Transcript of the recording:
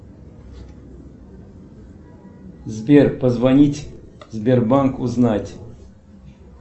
сбер позвонить в сбербанк узнать